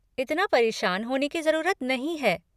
इतना परेशान होने की ज़रूरत नहीं है!